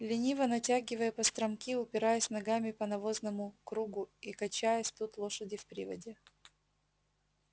лениво натягивая постромки упираясь ногами по навозному кругу и качаясь идут лошади в приводе